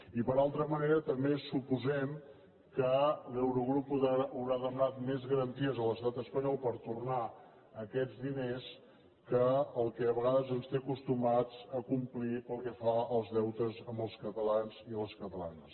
i per altra manera també suposem que l’eu·rogrup deu haver demanat més garanties a l’estat es·panyol per tornar aquests diners que el que a vegades ens té acostumats a complir pel que fa als deutes amb els catalans i les catalanes